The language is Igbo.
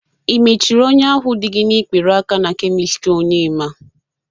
Ị mechiri ọnya ahụ dị gi n'ikpere aka na kemist Onyema?